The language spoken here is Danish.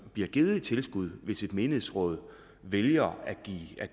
bliver givet i tilskud hvis et menighedsråd vælger